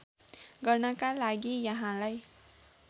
गर्नका लागि यहाँलाई